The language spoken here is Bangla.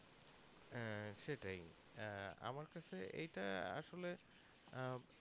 হ্যাঁ সেটাই আহ আমার কাছে ইটা আসলে আহ